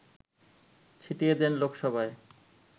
ছিটিয়ে দেন লোকসভায়